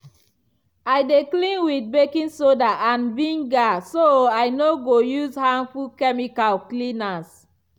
i dey clean with baking soda and vinegar so i no go use harmful chemical cleaners.